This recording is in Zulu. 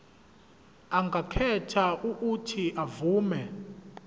angakhetha uuthi avume